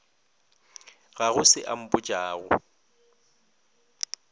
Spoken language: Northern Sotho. ga go se a mpotšago